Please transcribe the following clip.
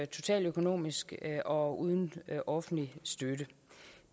totaløkonomisk og uden offentlig støtte